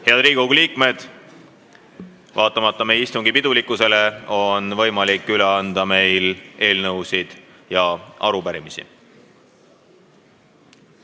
Head Riigikogu liikmed, vaatamata meie istungi pidulikkusele on võimalik üle anda eelnõusid ja arupärimisi.